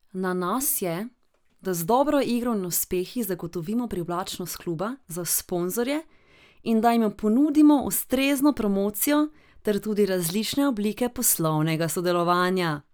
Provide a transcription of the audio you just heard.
Na nas je, da z dobro igro in uspehi zagotovimo privlačnost kluba za sponzorje in da jim ponudimo ustrezno promocijo ter tudi različne oblike poslovnega sodelovanja.